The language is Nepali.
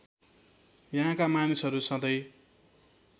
यहाँका मानिसहरू सधैँ